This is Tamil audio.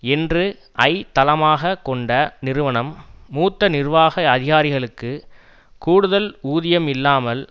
என்று ஐ தளமாக கொண்ட நிறுவனம் மூத்த நிர்வாக அதிகாரிகளுக்கு கூடுதல் ஊதியம் இல்லாமல்